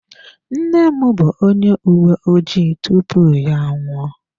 Nne m bụ onye uwe ojii tupu ya anwụọ.